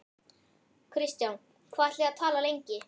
Kristján: Hvað ætlið þið að tala lengi?